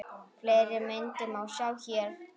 Fleiri myndir má sjá hér